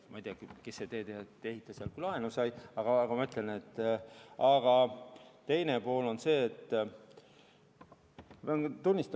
Ma ei tea, kes see teedeehitaja oli, kes sealt laenu sai.